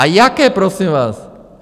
A jaké, prosím vás?